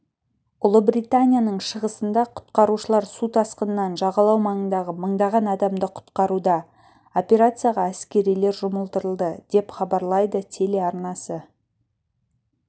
ұлыбританияның шығысында құтқарушылар су тасқынынан жағалау маңындағы мыңдаған адамды құтқаруда операцияға әскерилер жұмылдырылды деп хабарлайды телеарнасы